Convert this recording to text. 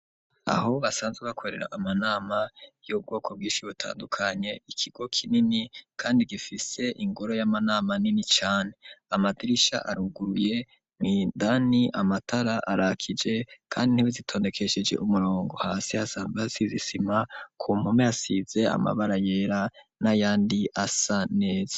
Aho basanzwe bakorera amanama y'ubwoko bwishi butandukanye ikigo kinini kandi gifise ingoro y'amanama nini cane amadirisha aruguruye mu indani amatara arakije kandi intebe zitondekesheje umurongo hasi hasa nkahasize isima ku mpume hasize amabara yera nayandi asa neza.